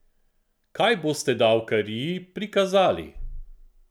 Kaj boste davkariji prikazali?